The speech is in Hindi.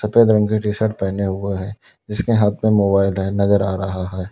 सफेद रंग की टी शर्ट पहेना हुआ है जिसके हाथ में मोबाइल है नजर आ रहा है।